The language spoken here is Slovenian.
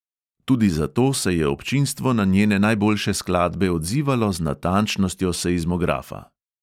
Tudi zato se je občinstvo na njene najboljše skladbe odzivalo z natančnostjo seizmografa.